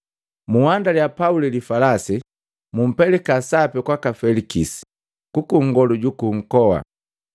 Nhandia Pauli falasi, bumpelika sapi kwaka Felikisi, kuku nkolongu juku nkoa.”